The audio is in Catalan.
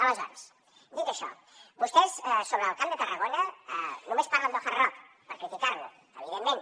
aleshores dit això vostès sobre el camp de tarragona només parlen del hard rock per criticar lo evidentment